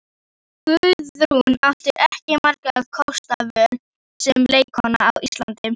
Guðrún átti ekki margra kosta völ sem leikkona á Íslandi.